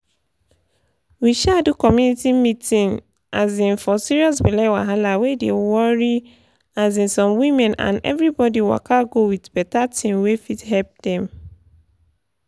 we um do community meeting um for serious belle wahala wey dey worry um some women and everybody waka go with better thing wey fit help dem.